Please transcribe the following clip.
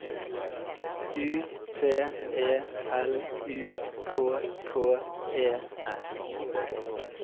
U T E L U K K E S